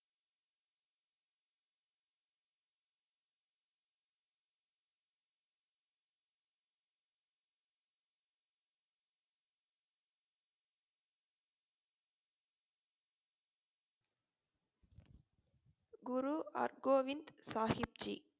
Guru Hargobind Sahib Zee